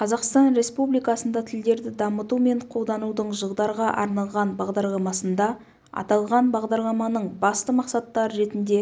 қазақстан республикасында тілдерді дамыту мен қолданудың жылдарға арналған бағдарламасында аталған бағдарламаның басты мақсаттары ретінде